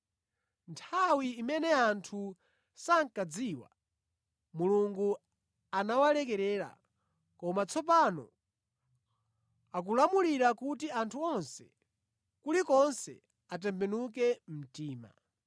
Nthawi imene anthu sankadziwa, Mulungu anawalekerera koma tsopano akulamulira kuti anthu onse, kulikonse atembenuke mtima.